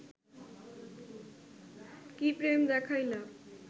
কি প্রেম দেখাইলা